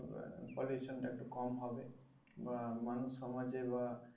pollution টা একটু কম হবে বা মানুষ সমাজে বা